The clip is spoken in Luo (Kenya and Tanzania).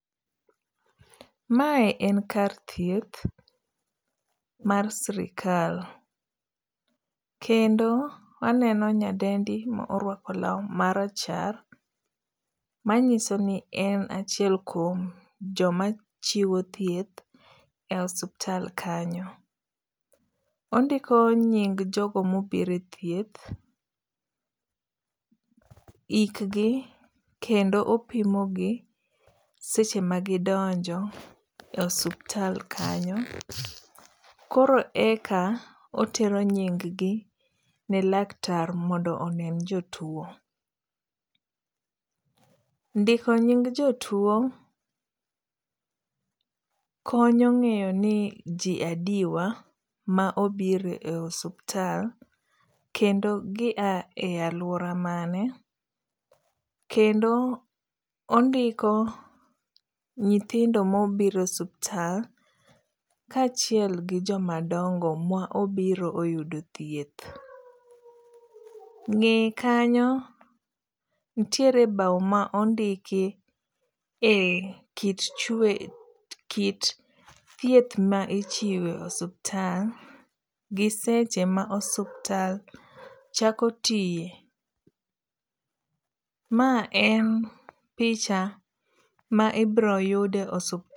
Mae en kar thieth mar sirikal, kendo aneno nyadendi ma orwako lau marachar, manyiso ni en achiel kuom joma chiwo thieth e osuptal kanyo, ondiko nying' jogo ma obiro e thieth, hikgi kendo opimogi seche magidonjo e osuptal kanyo, koro eka otero nyig gi ne laktar mondo one jotuo. Ndiko nying' jotuo konyo ng'eyo ni ji adiwa ma obiro e suptal kendo gia e aluora mane, kendo ondiko nyithindo ma obiro e suptal kachiel gi jomadongo mobiro ma oyudo thieth, ng'eye kanyo nitiere bau ma ondiki e kit thieth ma ichiwo e osuptal gi seche ma osuptal chako tiye, ma e picha ma ibiroyude e